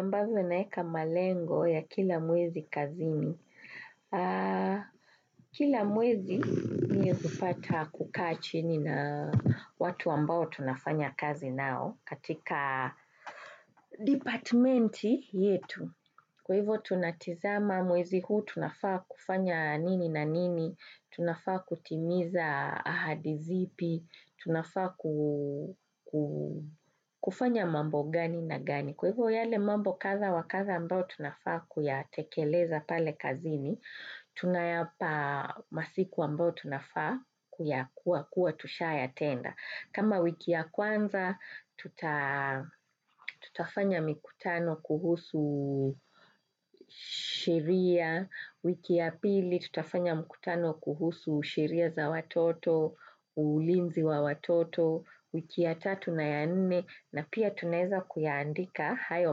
Ambavyo naeka malengo ya kila mwezi kazini. Kila mwezi mie hupata kukaa chini na watu ambao tunafanya kazi nao katika department yetu. Kwa hivo tunatizama mwezi huu tunafanya nini na nini, tunafanya kutimiza ahadi zipi, tunafanya mambo gani na gani. Kwa hivyo yale mambo kadha wa kadha ambayo tunafaa kuyatekeleza pale kazini, tunayapa masiku ambao tunafaa kuyakuwa kua tushayatenda. Kama wiki ya kwanza, tutafanya mikutano kuhusu sheria, wiki ya pili tutafanya mikutano kuhusu sheria za watoto, ulinzi wa watoto, wiki ya tatu na ya nini, na pia tuneza kuyandika hayo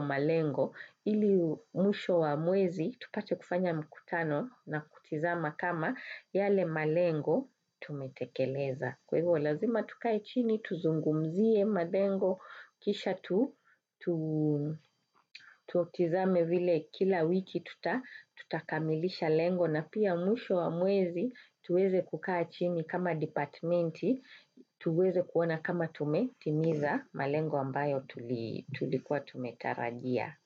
malengo, ili mwisho wa mwezi, tupate kufanya mikutano na kutizama kama yale malengo tumetekeleza. Kwa hivyo lazima tukae chini, tuzungumzie malengo, kisha tutizame vile kila wiki tutakamilisha lengo na pia mwisho wa mwezi tuweze kukai chini kama departmenti, tuweze kuona kama tumetimiza malengo ambayo tulikuwa tumetarajia.